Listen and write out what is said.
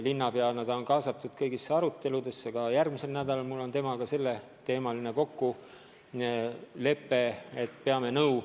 Linnapeana on ta kaasatud kõikidesse aruteludesse ja järgmiseks nädalaks on mul temaga kokku lepitud, et peame nõu.